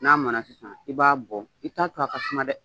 N'a mɔna sisan ,i b'a bɔ i t'a to a ka kuma dɛ!